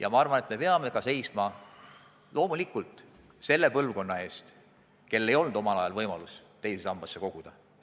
Aga loomulikult me peame seisma selle põlvkonna eest, kellel ei olnud omal ajal võimalust teise sambasse koguda.